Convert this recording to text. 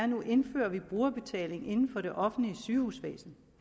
nu indfører brugerbetaling inden for det offentlige sygehusvæsen